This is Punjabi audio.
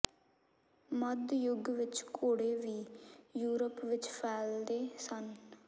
ਮੱਧ ਯੁੱਗ ਵਿਚ ਘੋੜੇ ਵੀ ਯੂਰਪ ਵਿਚ ਫੈਲਦੇ ਸਨ